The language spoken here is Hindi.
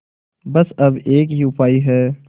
बस अब एक ही उपाय है